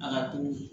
A ka to